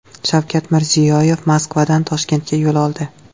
Shavkat Mirziyoyev Moskvadan Toshkentga yo‘l oldi.